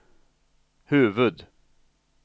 huvud